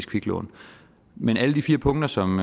kviklån men alle de fire punkter som